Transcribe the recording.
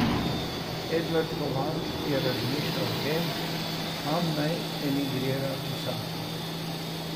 Edvard Kovač je razmišljal o tem, kam naj emigrira pisatelj.